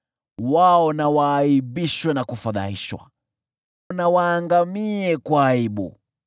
Wao na waaibishwe na kufadhaishwa milele, na waangamie kwa aibu.